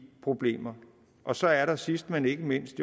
problemer og så er der jo sidst men ikke mindst